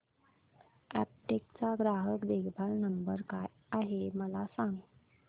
Aptech चा ग्राहक देखभाल नंबर काय आहे मला सांग